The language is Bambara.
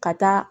Ka taa